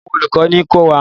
Àwọn olùkọ́ ní ko wá?